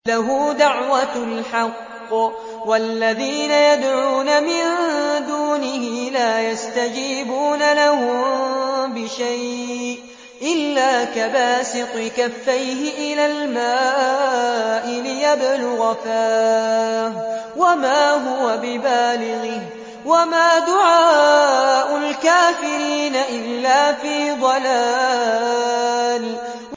لَهُ دَعْوَةُ الْحَقِّ ۖ وَالَّذِينَ يَدْعُونَ مِن دُونِهِ لَا يَسْتَجِيبُونَ لَهُم بِشَيْءٍ إِلَّا كَبَاسِطِ كَفَّيْهِ إِلَى الْمَاءِ لِيَبْلُغَ فَاهُ وَمَا هُوَ بِبَالِغِهِ ۚ وَمَا دُعَاءُ الْكَافِرِينَ إِلَّا فِي ضَلَالٍ